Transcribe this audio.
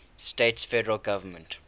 states federal government